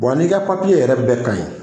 n'i ka yɛrɛ bɛɛ ka ɲi